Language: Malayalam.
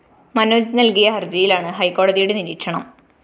മനോജ് നല്‍കിയ ഹര്‍ജിയിലാണ് ഹൈക്കോടതിയുടെ നിരീക്ഷണം